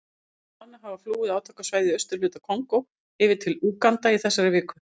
Þúsundir manna hafa flúið átakasvæðin í austurhluta Kongó yfir til Úganda í þessari viku.